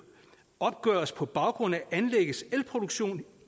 opgøres på baggrund af anlæggets elproduktion